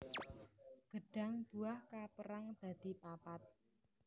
Gêdhang buah kapérang dadi papat